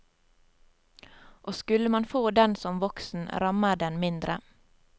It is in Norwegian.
Og skulle man få den som voksen, rammer den mindre.